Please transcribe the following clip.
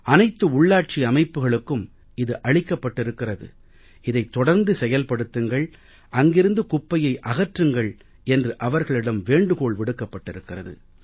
அனைத்து உள்ளாட்சி அமைப்புக்களுக்கும் இது அளிக்கப்பட்டிருக்கிறது இதைத் தொடர்ந்து செயல்படுத்துங்கள் அங்கிருந்து குப்பையை அகற்றுங்கள் என்று அவர்களிடம் வேண்டுகோள் விடுக்கப்பட்டிருக்கிறது